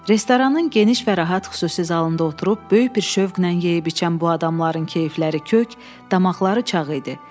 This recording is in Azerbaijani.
Restoranın geniş və rahat xüsusi zalında oturub böyük bir şövqlə yeyib-içən bu adamların keyfləri kök, damaqları çağ idi.